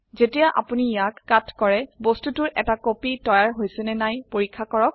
যেতিয়া আপোনি ইয়াক কাট কৰে বস্তুটোৰ এটা কপি তৈয়াৰ হৈছে নে নাই পৰীক্ষা কৰক